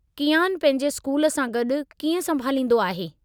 कीआनु पंहिंजे स्कूल सां गॾु कीअं संभालींदो आहे?